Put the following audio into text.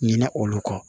Ɲinɛ olu kɔ